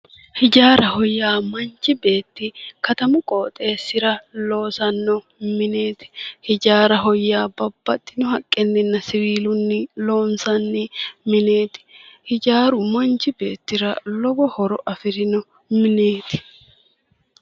Hijaaraho yaa manchi beetti katamu qooxeessira loosanno mineeti hijaaraho yaa babbaxxino haqqeenna siwiilunni loonsanni mineeti, hijaaru manchi beettira lowo horo afi'rino mineeti.